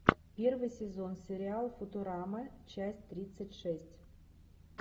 первый сезон сериал футурама часть тридцать шесть